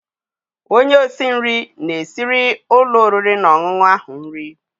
Onye isi nri na-esiri ụlọ oriri na ọṅụṅụ ahụ nri.